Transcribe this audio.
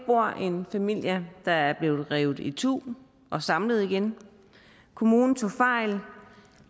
bor der en familie der er blevet revet itu og samlet igen kommunen tog fejl